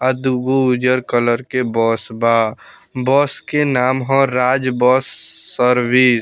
और दुगो उज्जर कलर के बस बा बस के नाम हअ राज बस सर्विस ।